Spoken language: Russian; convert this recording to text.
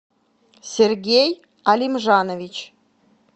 сергей алимжанович